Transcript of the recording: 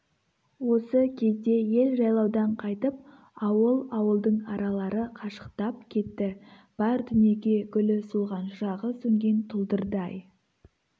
осы кезде ел жайлаудан қайтып ауыл-ауылдың аралары қашықтап кетті бар дүниеге гүлі солған шырағы сөнген тұлдырдай